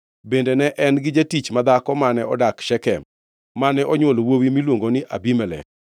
Bende ne en gi jatich madhako mane odak Shekem, mane onywolone wuowi miluongo ni Abimelek.